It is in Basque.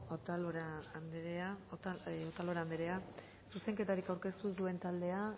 otalora anderea zuzenketarik aurkeztu ez duen taldea